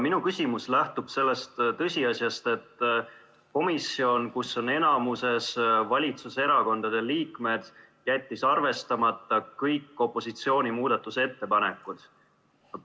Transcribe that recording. Minu küsimus lähtub sellest tõsiasjast, et komisjon, kus on enamuses valitsuserakondade liikmed, jättis arvestamata kõik opositsiooni muudatusettepanekud.